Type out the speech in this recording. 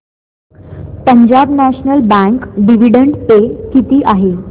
Punjab National Bank dividend pay किती आहे